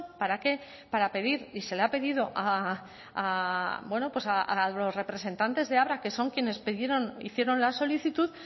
para qué para pedir y se le ha pedido a los representantes de abra que son quienes hicieron la solicitud